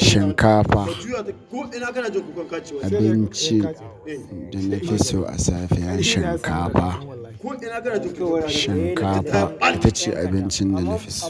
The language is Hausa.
Shinkafa, abincin da na fi so a safiya shinkafa. Shinkafa ita ce abincin da na fi so.